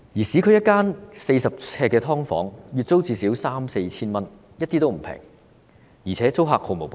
市區一間40呎的"劏房"，月租最少三四千元，一點也不便宜，而且租客毫無保障。